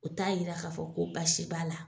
U t'a yira k'a fɔ ko baasi b'a la.